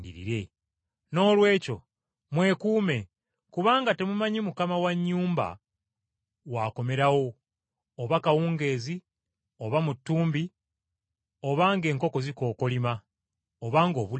“Noolwekyo mubeere beetegefu kubanga temumanyi ssemaka wakomerawo oba kawungeezi, oba mu ttumbi, oba ng’enkoko zikookolima, oba ng’obudde bukya,